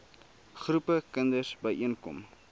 groepe kinders byeenkom